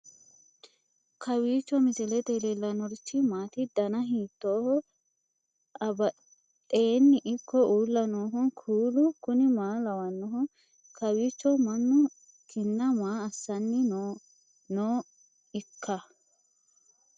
kowiicho misilete leellanorichi maati ? dana hiittooho ?abadhhenni ikko uulla noohu kuulu kuni maa lawannoho? kawiicho mannu kinna maa assanni nooikka